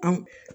An